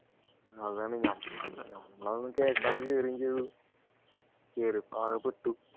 അതാണ് ഞാൻ പറഞ്ഞത് നമ്മൾ അതൊന്നും കേൾക്കാതെ കേറുകയും ചെയ്തു കേറിയപ്പോ ആകെ പെട്ടു